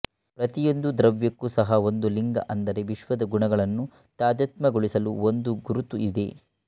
ಪ್ರತಿಯೊಂದು ದ್ರವ್ಯಕ್ಕೂ ಸಹ ಒಂದು ಲಿಂಗಅಂದರೆ ವಿಶ್ವದ ಗುಣಗಳನ್ನು ತಾದಾತ್ಮ್ಯಗೊಳಿಸಲು ಒಂದು ಗುರುತು ಇದೆ